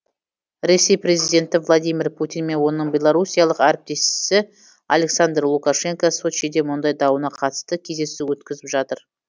ресей президенті владимир путин мен оның белоруссиялық әріптесі александр лукашенко сочиде мұнай дауына қатысты кездесу өткізіп жатыр